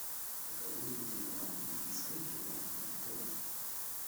покажи мне телеканал индийское кино на тв